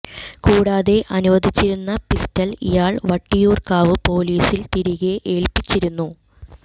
കൂടാതെ അനുവദിച്ചിരുന്ന പിസ്റ്റൾ ഇയാൾ വട്ടിയൂർക്കാവ് പോലിസിൽ തിരികെ ഏൽപ്പിച്ചിരുന്നു